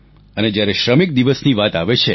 અને જ્યારે શ્રમિક દિવસની વાત આવે છે